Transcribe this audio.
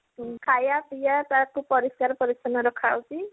ଖାଇବା ପିଏବା ତାକୁ ପରିଷ୍କାର ପରିଛନ୍ନ ରକ୍ଷା ଯାଉଛି